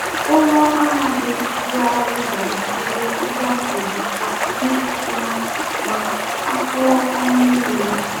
Ụrọ aha dị dị arụ ge enyere ihe akụru aka mee ofuma ma akoo ọnụ mmiri